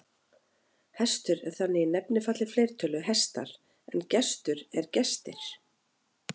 Hestur er þannig í nefnifalli fleirtölu hestar en gestur er gestir.